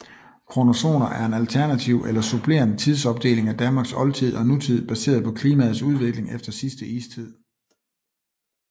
Kronozoner er en alternativ eller supplerende tidsopdeling af Danmarks oldtid og nutid baseret på klimaets udvikling efter sidste istid